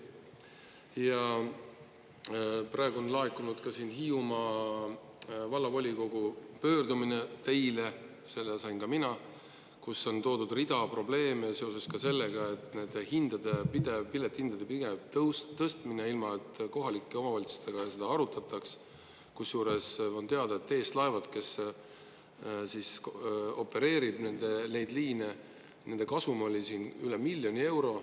Ja praegu on laekunud ka siin Hiiumaa Vallavolikogu pöördumine teile, selle sain ka mina, kus on toodud rida probleeme seoses ka sellega, et nende hindade pidev, piletihindade pidev tõstmine, ilma et kohalike omavalitsustega seda arutataks, kusjuures on teada, et TS Laevad, kes opereerib neid liine, nende kasum oli siin üle miljoni euro.